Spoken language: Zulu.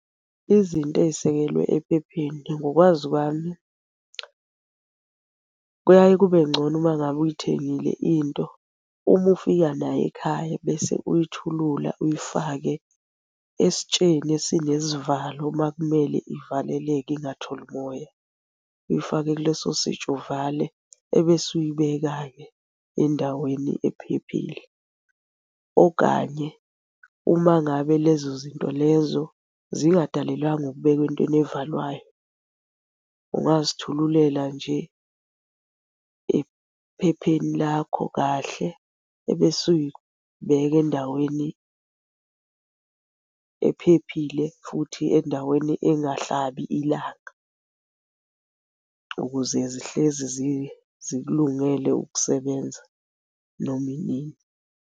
Izinto ey'sekelwe ephepheni ngokwazi kwami kuyaye kube ngcono uma ngabe uyithengile into, uma ufika naye ekhaya, bese uyithulula uyifake esitsheni esinesivalo uma kumele ivaleleke ingatholi moya. Uyifake kuleso sitsha uvale, ebese uyibeka-ke endaweni ephephile. Okanye uma ngabe lezo zinto lezo zingadalelwanga ukubekwa entweni evalwayo, ungazithululela nje ephepheni lakho kahle ebese uy'beka endaweni ephephile futhi endaweni engahlabi ilanga, ukuze zihlezi zikulungele ukusebenza noma inini.